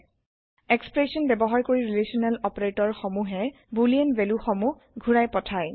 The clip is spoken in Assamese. এক্সপ্ৰেছন ব্যৱহাৰ কৰি ৰিলেচনেল অপাৰেতৰ সমুহে বুলিন ভেলু সমুহ ঘুৰাই পঠাই